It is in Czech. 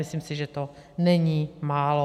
Myslím si, že to není málo.